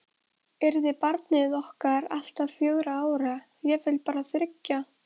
Undrar það engan sem til þekkir.